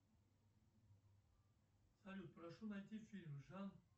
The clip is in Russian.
салют прошу найти фильм жан